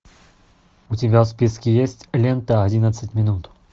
у тебя в списке есть лента одиннадцать минут